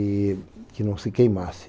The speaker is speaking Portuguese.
E que não se queimasse.